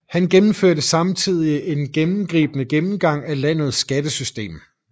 Han gennemførte samtidig en gennemgribende gennemgang af landets skattesystem